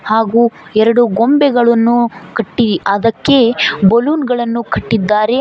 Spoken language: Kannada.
ಹಾಗು ಎರಡು ಗೊಂಬೆಗಳನ್ನು ಕಟ್ಟಿ ಅದಕ್ಕೆ ಬಲ್ಲೂನ್ ಗಳನ್ನು ಕಟ್ಟಿದ್ದಾರೆ.